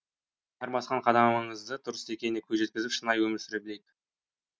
әр басқан қадамымыздың дұрыс екеніне көз жеткізіп шынайы өмір сүре білейік